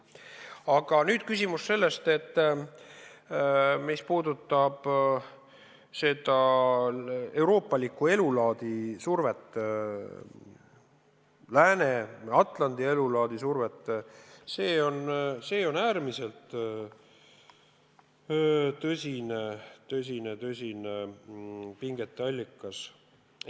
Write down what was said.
Aga mis puudutab seda survet euroopalikule elulaadile, lääne, Atlandi elulaadile, siis see on äärmiselt tõsine pingete allikas.